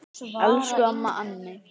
Elsku amma Anney.